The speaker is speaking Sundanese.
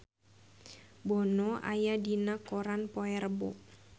Bono aya dina koran poe Rebo